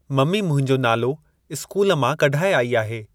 Mummy मुंहिंजो नालो school मां कढाए आई आहे।